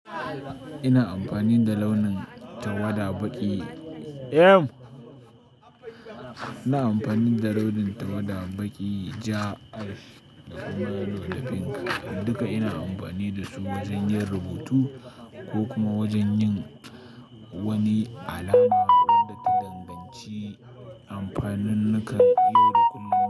Ina amfani da launin tawada baƙi, em. Ina amfani da launin tawada baƙi, ja, alf da kuma laujafin. Duka ina amfani da su wajen yin rubutu ko kuma wajen yin wani alama wadda ta danganci amfanin nakan yau da kullum.